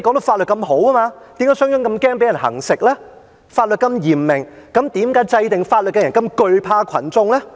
法律已經那麼嚴明，為何制定法律的人那麼懼怕群眾呢？